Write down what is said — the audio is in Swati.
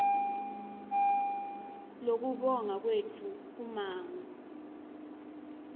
kubonga kwetfu kummango